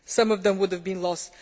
Some of them would have been lost.